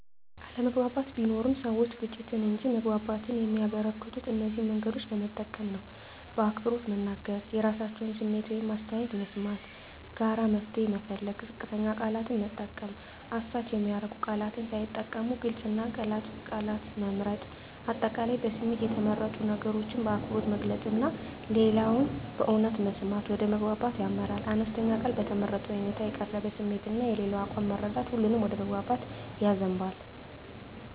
አለመግባባት ቢኖርም፣ ሰዎች ግጭትን እንጂ መግባባትን የሚያበረከቱት እነዚህን መንገዶች በመጠቀም ነው በአክብሮት መናገር – የራሳቸውን ስሜት ወይም አስተያየት መስማት ጋራ መፍትሄ መፈለግ ዝቅተኛ ቃላት መጠቀም – አሳች የሚያደርጉ ቃላት ሳይጠቀሙ ግልጽ እና ገላጭ ቃላት መምረጥ። አጠቃላይ በስሜት የተመረጡ ነገሮችን በአክብሮት መግለጽ እና ሌላውን በእውነት መስማት ወደ መግባባት ያመራል። አነስተኛ ቃል በተመረጠ ሁኔታ የተቀረበ ስሜት እና የሌላው አቋም መረዳት ሁሉንም ወደ መግባባት ያዘንባል።